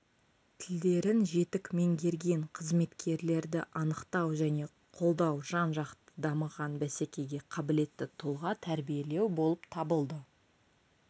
тілдерін жетік меңгерген қызметкерлерді анықтау және қолдау жан-жақты дамыған бәсекеге қабілетті тұлға тәрбиелеу болып табылды